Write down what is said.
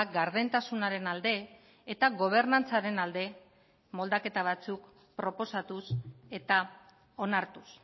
gardentasunaren alde eta gobernantzaren alde moldaketa batzuk proposatuz eta onartuz